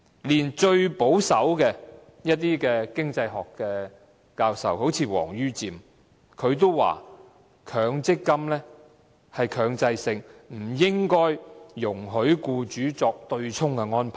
連最保守的經濟學教授例如王于漸也指出，強積金是強制性，不應容許僱主作對沖安排。